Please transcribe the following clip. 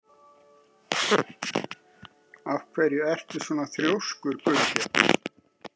Af hverju ertu svona þrjóskur, Gunnbjörn?